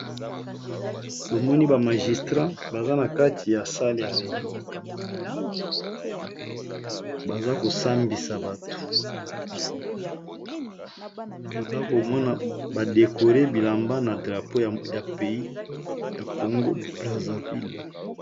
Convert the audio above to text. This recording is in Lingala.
Tomoni bamagistrat baza na kati ya sale ya réigno baza kosambisa bato toza komona badekole bilamba na drapo ya pays ya congo praserville